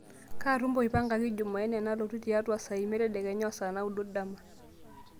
kaa tumo ipangaki jumaine nalotu tiatua saa imiet tedekenya o saa naudo dama